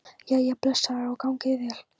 Jæja, blessaður og gangi þér vel